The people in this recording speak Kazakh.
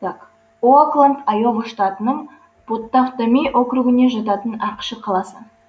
оакланд айова штатының поттаваттами округіне жататын ақш қаласы